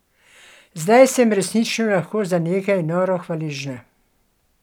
Zdaj sem resnično lahko za nekaj noro hvaležna.